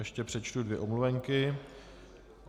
Ještě přečtu dvě omluvenky.